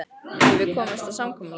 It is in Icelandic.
Höfum við komist að samkomulagi?